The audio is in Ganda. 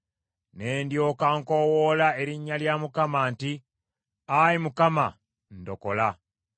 Ne ndyoka nkoowoola erinnya lya Mukama nti, “Ayi Mukama , ndokola.”